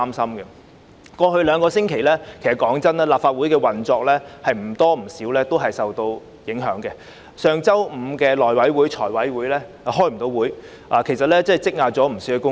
坦白說，過去兩星期，立法會的運作也略受影響，上星期五的內務委員會和財務委員會無法舉行會議，積壓大量工作。